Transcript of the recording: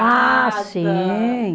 Ah, sim!